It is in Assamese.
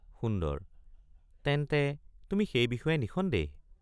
সুন্দৰ—তেন্তে তুমি সেই বিষয়ে নিঃসন্দেহ?